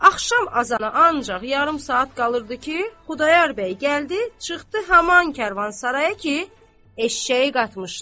Axşam azanına ancaq yarım saat qalırdı ki, Xudayar bəy gəldi, çıxdı haman karvansaraya ki, eşşəyi qatmışdı.